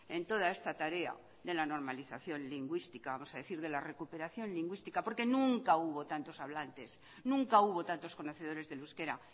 en toda esta tarea de la normalización lingüística vamos a decir de la recuperación lingüística porque nunca hubo tantos hablantes nunca hubo tantos conocedores del euskera